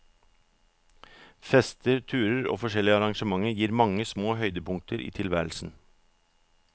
Fester, turer og forskjellige arrangemeter gir mange små høydepunkter i tilværelsen.